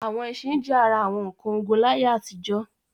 Àwọn ẹṣin jẹ́ ara àwọn nǹkan ogun láyé àtijọ́.